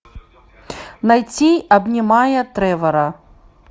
найти обнимая тревора